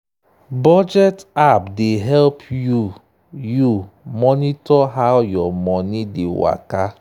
budget app dey help you you monitor how your money dey waka.